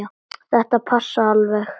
Þetta passar alveg.